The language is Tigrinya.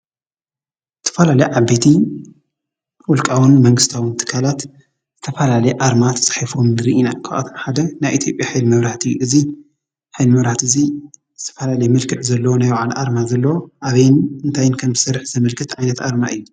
ዝተፋላለዩ ዓበይት ዉልቃዊ መንግስታዊ ትካላት ዝተፋላለየ ኣረማ ተፃሕፍዎም ንርኢ ኢና። ካባኣቶም ሓደ ናይ ኢትዮጲያ ሓይሊ መብራህት እዩ::እዚ ሓይሊ መብራህቲ እዚ ዝተፋላለዮ መልክዕ ዘለዎ ናይ ባዕሉ ኣርማ ዘለዎ ኣበይ እንታይን ከም ዝሰርሕ ዘምለክት ዓይነት ኣርማ አዩ::